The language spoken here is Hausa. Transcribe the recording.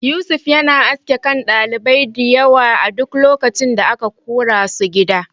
Yusuf yana aske kan ɗalibai diyawa a duk lokacin da aka korasu gida.